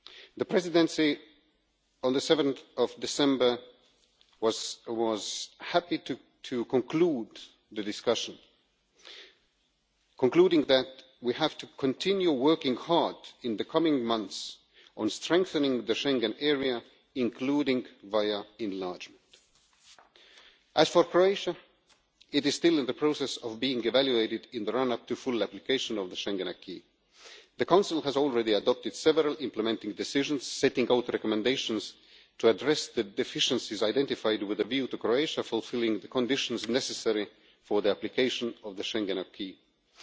The Presidency on 7 December was happy to conclude the discussion, concluding that we have to continue working hard in the coming months on strengthening the Schengen area, including via enlargement. As for Croatia, it is still in the process of being evaluated in the run up to full application of the Schengen acquis The Council has already adopted several implementing decisions setting out recommendations to address the deficiencies identified with a view to Croatia fulfilling the conditions necessary for the application of the Schengen acquis